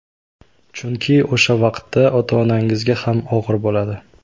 Chunki o‘sha vaqtda ota-onangizga ham og‘ir bo‘ladi.